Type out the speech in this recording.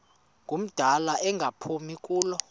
ngumdala engaphumi kulo